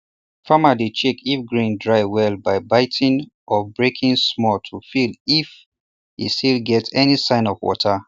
farmer dey check if grain dry well by biting or or breaking small to feel if he still get any sign of water